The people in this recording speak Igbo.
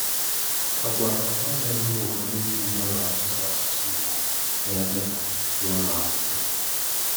Àgwà ọ̀ gbasàghị m ùfọ̀dù ndị Ìgbò na-akpàsò asụ̀sụ́ Ìgbò n’ábe hà, n’ùlọ̀akwùkwó.